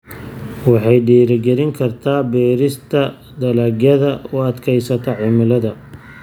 Waxay dhiirigelin kartaa beerista dalagyada u adkaysta cimilada.